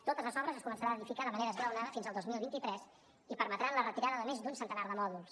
totes les obres es començaran a edificar de manera esglaonada fins al dos mil vint tres i permetran la retirada de més d’un centenar de mòduls